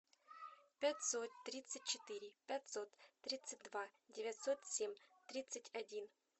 пятьсот тридцать четыре пятьсот тридцать два девятьсот семь тридцать один